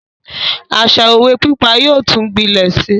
Àṣa òwe pípa yóò tún gbilẹ Si